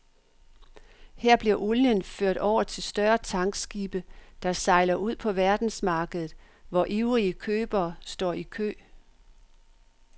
Her bliver olien ført over til større tankskibe, der sejler ud på verdensmarkedet, hvor ivrige købere står i kø.